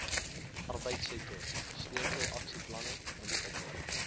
arbeidsektor sleutelaksieplanne ontwikkel